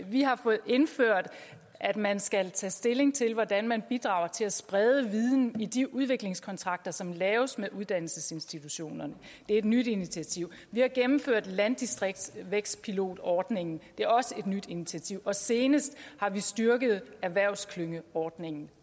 vi har fået indført at man skal tage stilling til hvordan man bidrager til at sprede viden i de udviklingskontrakter som laves med uddannelsesinstitutionerne det er et nyt initiativ vi har gennemført landdistriktsvækstpilotordningen det er også et nyt initiativ og senest har vi styrket erhvervsklyngeordningen